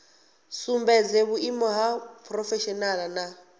sumbedze vhuimo ha phurofeshinala na